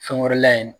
Fɛn wɛrɛ la yen